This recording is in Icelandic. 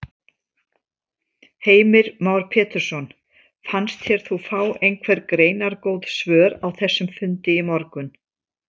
Heimir Már Pétursson: Fannst þér þú fá einhver greinargóð svör á þessum fundi í morgun?